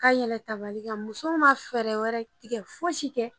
Ka yɛlɛ tabali kan muso ma fɛɛrɛ wɛrɛ tigɛ foyi si kɛ